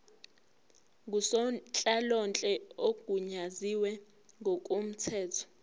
ngusonhlalonhle ogunyaziwe ngokomthetho